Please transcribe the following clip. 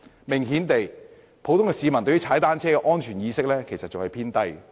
明顯地，普通市民對踏單車的安全意識仍然偏低。